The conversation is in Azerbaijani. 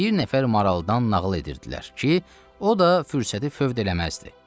Bir nəfər maraldan nağıl edirdilər ki, o da fürsəti fövd eləməzdi.